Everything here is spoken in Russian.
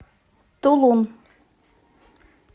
тулун